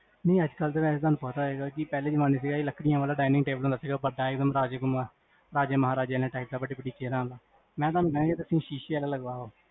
ਨੀ ਅਜਕਲ ਤਾਂ ਵੇਸੇ ਤੁਹਾਨੂੰ ਪਤਾ ਹੈਗਾ ਕੀ, ਪਹਲੇ ਜਮਾਨੇ ਦੇ ਵਿੱਚ ਚਾਹੇ ਲਕੜੀਆਂ ਵਾਲਾ dining table ਹੁੰਦਾ ਸੀਗਾ, ਬਡਾ ਏਕ੍ਦੁਮ ਰਾਜੇਆਂ, ਰਾਜੇ ਮਹਾਰਾਜੇ type, ਵੱਡੀ ਵੱਡੀ chairs ਵਾਲਾ ਮੈਂ ਤੁਹਾਨੂ ਕਹਾਂ ਜੇ ਤੁਸੀਂ ਸ਼ੀਸ਼ੇ ਆਲਾ ਲਗਵਾਓ